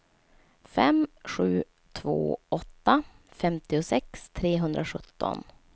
fem sju två åtta femtiosex trehundrasjutton